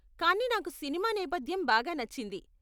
కానీ నాకు సినిమా నేపధ్యం బాగా నచ్చింది.